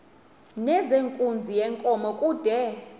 nezenkunzi yenkomo kude